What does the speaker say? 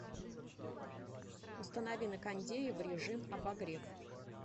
установи на кондее в режим обогрев